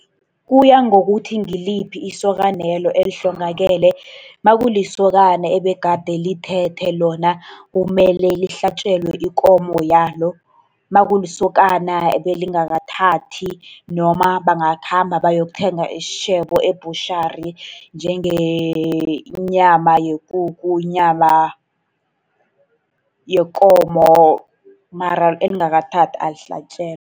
Kuya ngokuthi ngiliphi isokanelo elihlongakele, nakulisokana ebegade lithethe lona, kumele lihlatjelwe ikomo yalo. Nakulisokana ebelingakathathi noma bangakhamba bayokuthenga isitjhebo e-butchery njengenyama yekukhu, inyama yekomo. Mara elingakathathi alihlatjelwa.